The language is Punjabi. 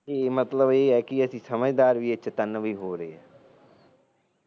ਇਹ ਮਤਲਬ ਇਹ ਹੈ ਕਿ ਅਸੀ ਸਮਝਦਾਰ ਤੇ ਚੇਤੰਨ ਵੀ ਹੋ ਰਹੇ